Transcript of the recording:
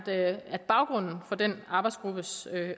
at baggrunden for den arbejdsgruppes